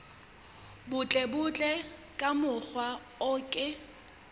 butlebutle ka mokgwa o ke